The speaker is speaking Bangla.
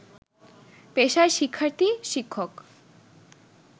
পেশায় শিক্ষার্থী, শিক্ষক